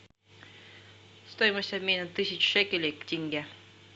стоимость обмена тысяч шекелей к тенге